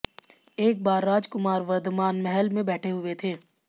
एक बार राजकुमार वर्धमान महल में बैठे हुए थे